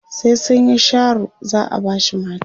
sai sunyi Sharo za'a bashi mata